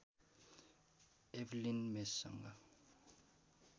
Evelyn मेससँग